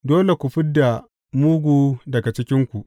Dole ku fid da mugu daga cikinku.